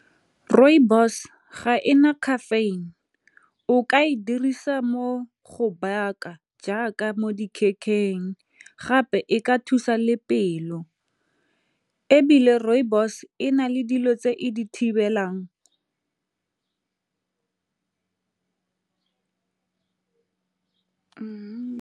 Rooibos ga e na caffeine o ka e dirisa mo go baka jaaka mo gape e ka thusa le pelo ebile rooibos e na le dilo tse ko di thibelang.